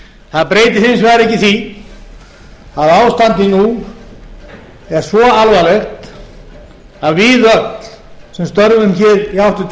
það breytir hins vegar ekki því að ástandið nú er svo alvarlegt að við öll sem störfum hér í háttvirtu